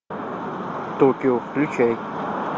токио включай